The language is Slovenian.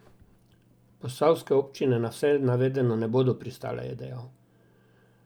Posavske občine na vse navedeno ne bodo pristale, je dejal.